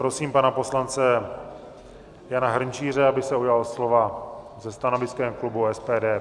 Prosím pana poslance Jana Hrnčíře, aby se ujal slova se stanoviskem klubu SPD.